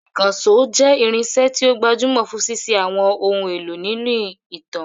Ìkànṣó jẹ́ irinṣẹ́ tí ó gbajúmọ̀ fún ṣíṣe àwọn ohun èlò nínú ìtàn.